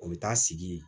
O bɛ taa sigi